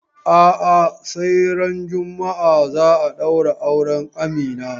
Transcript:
A'a, sai ran juma'a za a ɗaura auren Amina.